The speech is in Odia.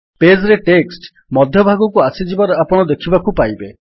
ପେଜ୍ ରେ ଟେକ୍ସଟ୍ ମଧ୍ୟ ଭାଗକୁ ଆସିଯିବାର ଆପଣ ଦେଖିବାକୁ ପାଇବେ